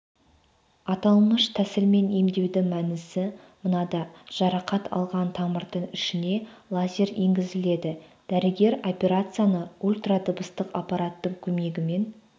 аталмыш тәсілмен емдеудің мәнісі мынада жарақат алған тамырдың ішіне лазер енгізіледі дәрігер операцияны ультрадыбыстық аппараттың көмегімен